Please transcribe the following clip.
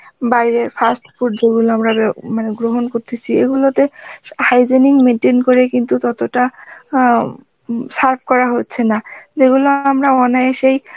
বাইরের fast food যেগুলো আমরা বে~ মানে গ্রহণ করতেসি এগুলোতে hygienic maintain করে কিন্তু ততটা অ্যাঁ serve করা হচ্ছে না যেগুলো আমরা অনায়াসেই